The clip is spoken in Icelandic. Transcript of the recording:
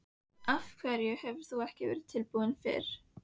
Af hverju hefur þú ekki verið tilbúin fyrr?